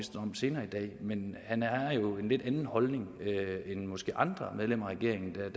om senere i dag men han er jo af en lidt anden holdning end måske andre medlemmer af regeringen